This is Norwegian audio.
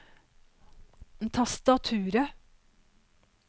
tastaturet